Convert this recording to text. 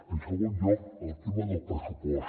en segon lloc el tema del pressupost